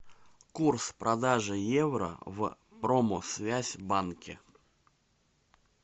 курс продажи евро в промсвязьбанке